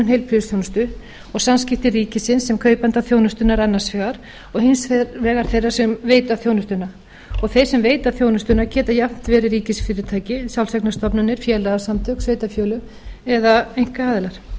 heilbrigðisþjónustu og samskipti ríkisins sem kaupanda þjónustunnar annars vegar og hins vegar þeirra sem veita þjónustuna og þeir sem veita þjónustuna geta jafnt verið ríkisfyrirtæki sjálfseignarstofnanir félagasamtök sveitarfélög eða einkaaðilar